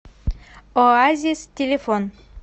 оазис телефон